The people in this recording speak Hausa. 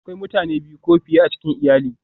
Akwai mutane biyu ko fiye a cikin iyali